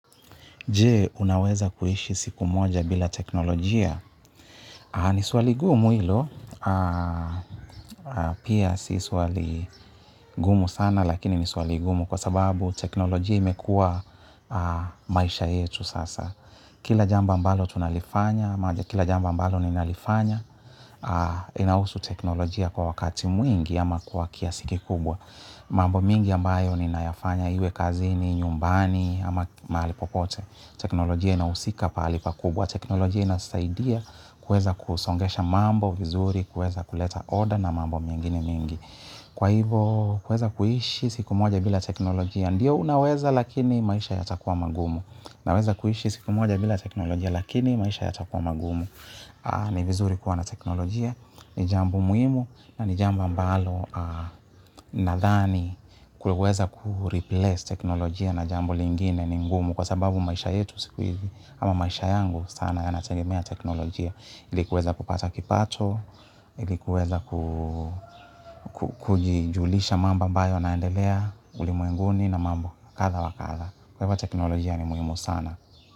Jee, unaweza kuishi siku moja bila teknolojia? Ni swali gumu hilo. Pia si swali gumu sana, lakini ni swali gumu kwa sababu teknolojia imekua maisha yetu sasa. Kila jambo ambalo tunalifanya, ama kila jambo ambalo nina lifanya. Inahusu teknolojia kwa wakati mwingi ama kwa kiasi kubwa. Mambo mingi ambayo ninayafanya iwe kazini, nyumbani ama mahali popote. Teknolojia inahysika pahali kubwa. Teknolojia inasaidia kuweza kusongesha mambo vizuri, kuweza kuleta oda na mambo mingine mingi. Kwa hivo kuweza kuhishi siku moja bila teknolojia. Ndio unaweza lakini maisha yatakuwa magumu. Naweza kuhishi siku moja bila teknolojia lakini maisha yata kuwa magumu. Ni vizuri kuwa na teknolojia, ni jambo muhimu na ni jambo ambalo nadhani kuweza kureplace teknolojia na jambo lingine ni ngumu kwa sababu maisha yetu siku hizi ama maisha yangu sana yanatengemea teknolojia ilikuweza kupata kipato, ili kuweza kujulisha mambo ambayo yanaendelea ulimuwenguni na mambo kadha wa kadha. Kwa hivyo teknolojia ni muhimu sana.